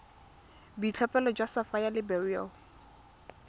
boitlhophelo jwa sapphire le beryl